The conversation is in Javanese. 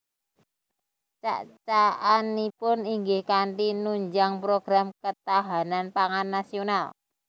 Cak cakanipun inggih kanthi nunjang program ketahanan pangan nasional